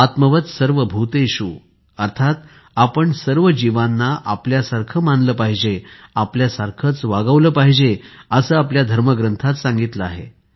आत्मवत् सर्वभूतेषु अर्थात आपण सर्व जीवांना आपल्यासारखे मानले पाहिजे आपल्यासारखेच वागवले पाहिजे असे आपल्या धर्मग्रंथात सांगितले आहे